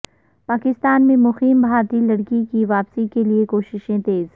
پاکستان میں مقیم بھارتی لڑکی کی واپسی کے لیے کوششیں تیز